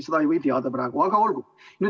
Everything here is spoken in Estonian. Ei või teada.